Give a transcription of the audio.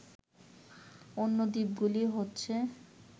অন্য দ্বীপগুলি হচ্ছে